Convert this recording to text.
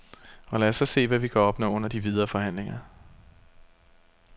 Og lad os så se, hvad vi kan opnå under de videre forhandlinger.